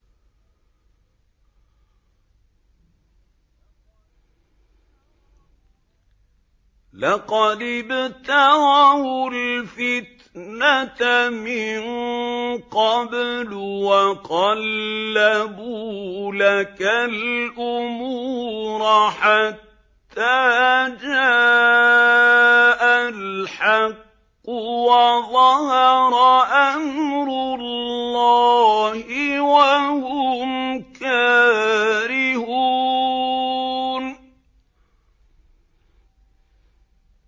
لَقَدِ ابْتَغَوُا الْفِتْنَةَ مِن قَبْلُ وَقَلَّبُوا لَكَ الْأُمُورَ حَتَّىٰ جَاءَ الْحَقُّ وَظَهَرَ أَمْرُ اللَّهِ وَهُمْ كَارِهُونَ